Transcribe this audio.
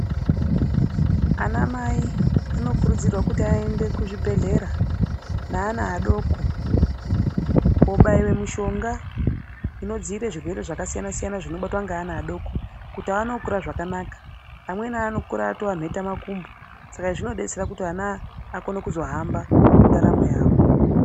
Anwmai anokurudzirwa kuti ayende kuzvibhedhlera ne ana adoko, kobaiwe mishonga inodzire zvirwere zvakasiyana siyana zvinonge zvinobatwa nge ana adoko kuti awane kukura zvakanaka. Amweni anokura atowa nheta makumbo. Saka izvi zvinodetsera kuti ana akone kuzohamba mundaramo yawo.